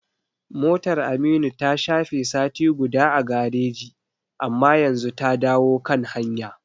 Motar Aminu ta shafe sati guda a gareji, amma yanzu ta dawo kan hanya.